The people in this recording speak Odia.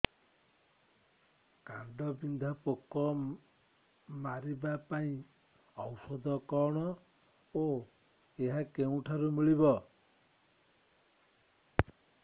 କାଣ୍ଡବିନ୍ଧା ପୋକ ମାରିବା ପାଇଁ ଔଷଧ କଣ ଓ ଏହା କେଉଁଠାରୁ ମିଳିବ